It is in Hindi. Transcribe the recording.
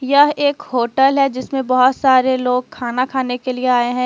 यह एक होटल है जिसमें बहुत सारे लोग खाना खाने के लिए आए हैं।